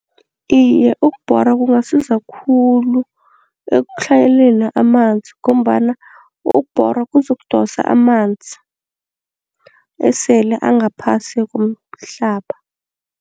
Iye, ukubhora kungasiza khulu ekutlhayeleni amanzi ngombana ukubhora kuzokudosa amanzi esele angaphasi komhlaba.